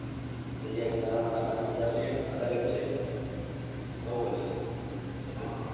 દરિયા કિનારામાં નાહવાની મજા તો અલગ જ છે બહુ અલગ છે